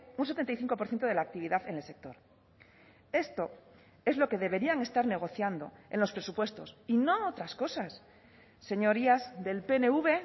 un setenta y cinco por ciento de la actividad en el sector esto es lo que deberían estar negociando en los presupuestos y no otras cosas señorías del pnv